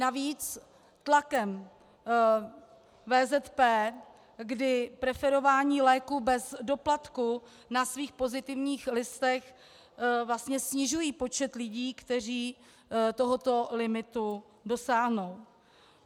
Navíc tlakem VZP, kdy preferování léků bez doplatku na svých pozitivních listech vlastně snižují počet lidí, kteří tohoto limitu dosáhnou.